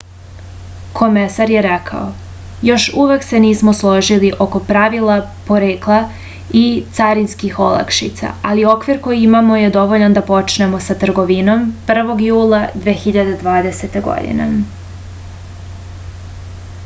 komesar je rekao još uvek se nismo složili oko pravila porekla i carinskih olakšica ali okvir koji imamo je dovoljan da počnemo sa trgovinom 1. jula 2020. godine